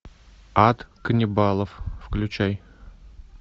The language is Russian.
ад каннибалов включай